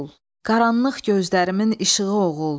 Qaranlıq gözlərimin işığı oğul.